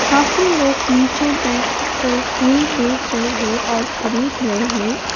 काफी लोग नीचे बैठकर फूल बेच रहे है और खरीद रहे है।